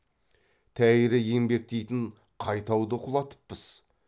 тәйірі еңбек дейтін қай тауды құлатыппыз